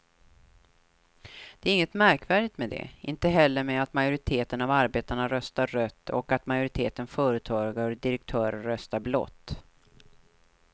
Det är inget märkvärdigt med det, inte heller med att majoriteten av arbetarna röstar rött och att majoriteten företagare och direktörer röstar blått.